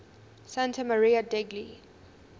santa maria degli